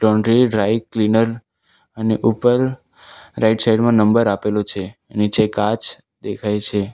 Laundry dry cleaner અને ઉપર right side માં નંબર આપેલો છે નીચે કાચ દેખાય છે.